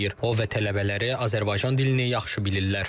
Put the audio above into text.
O və tələbələri Azərbaycan dilini yaxşı bilirlər.